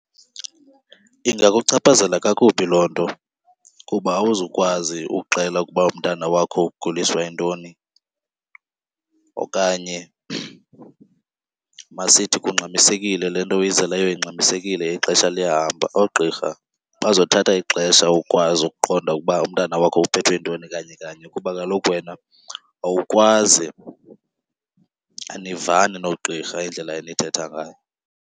Ingakuchaphazela kakubi loo nto kuba awuzukwazi ukuxela ukuba umntana wakho uguliswa yintoni. Okanye masithi kungxamisekile, le nto oyizeleyo ingxamisekile ixesha liyahamba, oogqirha bazothatha ixesha ukwazi ukuqonda ukuba umntana wakho uphethwe yintoni kanye kanye kuba kaloku wena awukwazi, anivani noogqirha indlela enithetha ngayo.